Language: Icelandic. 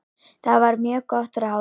Það var mjög gott ráð.